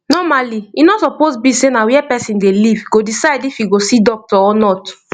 normally e no suppose be sey na where person dey live go decide if e go see doctor or not